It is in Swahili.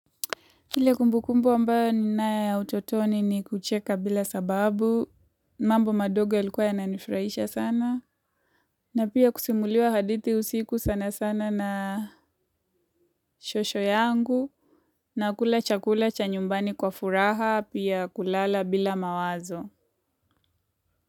Ile kumbu kumbu ambayo ni nae ya utotoni ni kucheka bila sababu, mambo madogo yalikuwa yana nifurahisha sana. Na pia kusimuliwa hadithi usiku sana sana na shosho yangu. Na kula chakula cha nyumbani kwa furaha, pia kulala bila mawazo.